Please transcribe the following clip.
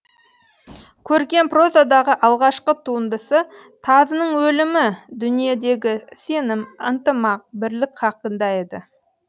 көркем прозадағы алғашқы туындысы тазының өлімі дүниедегі сенім ынтымақ бірлік хақында еді